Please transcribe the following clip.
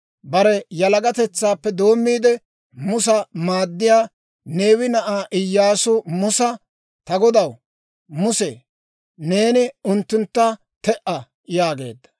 Bare yalagatetsaappe doommiide, Musa maaddiyaa Neewe na'ay Iyyaasu Musa, «Ta godaw Muse, neeni unttuntta te"a» yaageedda.